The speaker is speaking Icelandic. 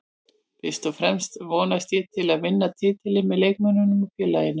Fyrst og fremst vonast ég til að vinna titilinn með leikmönnunum og félaginu